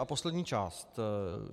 A poslední část.